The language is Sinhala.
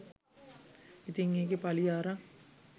ඉතින් ඒකේ පලිය අරන්